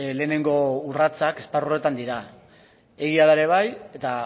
lehenengo urratsak esparru horretan dira egia da ere bai eta